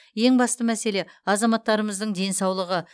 ең басты мәселе азаматтарымыздың денсаулығы